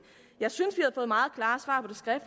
jeg synes